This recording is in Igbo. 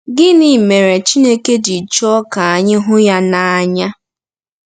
Gịnị mere Chineke ji chọọ ka anyị hụ ya n’anya?